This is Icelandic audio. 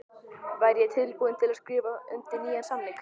Væri ég tilbúinn til að skrifa undir nýjan samning?